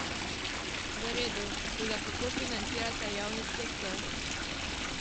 V redu, toda kako financirate javni sektor?